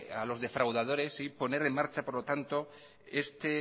a los defraudadores y poner en marcha por lo tanto lo que